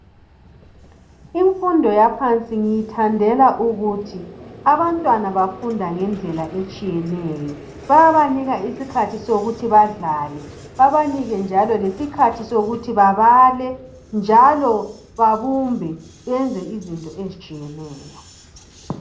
Imfundo yaphansi ngiyithandela ukuthi abantwana bafunda ngendlela etshiyeneyo. Bayabanika iskhathi sokuthi badlale, babanike njalo lesikhathi sokuthi babale, njalo babumbe beyenze izinto ezitshiyeneyo.